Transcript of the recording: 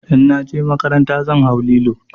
In na je makaranta zan hau lilo.